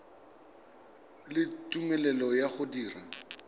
le tumelelo ya go dira